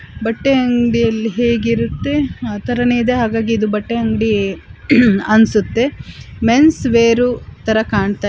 ಬಟ್ಟೆ ಅಂಗಡಿ ಅಲ್ಲಿ ಹೇಗೆ ಇರುತ್ತೆ ಅತರನೇ ಇದೆ ಹಾಗಾಗಿ ಬಟ್ಟೆ ಅಂಗಡಿ ಅನುಸುತ್ತೆ ಮೆನ್ಸ್ ವೇರು ತರ ಕಾಣ್ತಾ --